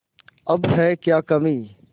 अब है क्या कमीं